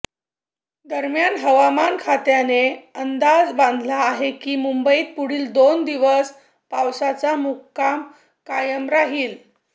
दरम्यान हवामान खात्याने अंदाज बांधला आहे की मुंबईत पुढील दोन दिवस पावसाचा मुक्काम कायम राहिलं